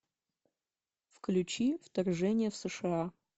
включи вторжение в сша